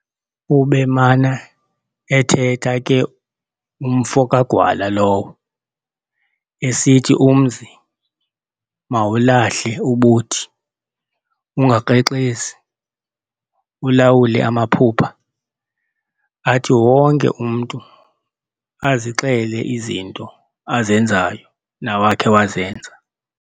Ubemana ethetha ke umfo kaGwala lowo, esithi umzi mawulahle ubuthi, ungakrexezi, ulawule amaphupha, athi wonke umntu azixele izinto azenzayo nawakhe wazenza.